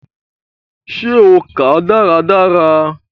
Ṣe o kàá dáradára?